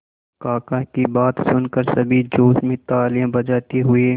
काका की बात सुनकर सभी जोश में तालियां बजाते हुए